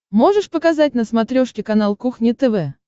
можешь показать на смотрешке канал кухня тв